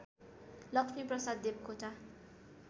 Lakshmi Prasad Devkota